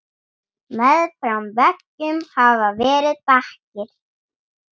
Meðfram veggjum hafa verið bekkir.